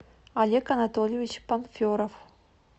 олег анатольевич панферов